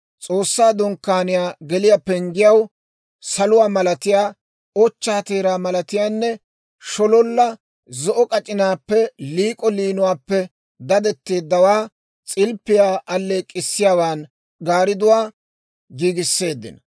S'oossaa Dunkkaaniyaa geliyaa penggiyaw saluwaa malatiyaa, ochchaa teeraa malatiyaanne shololla zo'o k'ac'inaappenne liik'o liinuwaappe daddetteeddawaa, s'ilppiyaa alleek'k'issiyaawaan gaaridduwaa giigisseeddino.